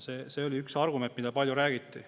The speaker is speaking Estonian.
See oli üks argument, mida palju räägiti.